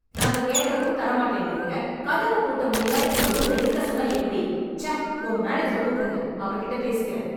நாங்க கேட்ட ரூம் தர மாட்டேன்டுறீங்க... கதவப் பூட்ட முடியாத இந்த ரூம்ல இருக்க சொன்னா எப்படி? ச்ச... ஒங்க மேனேஜர கூப்டுங்க... அவருகிட்டப் பேசிக்கிறேன்.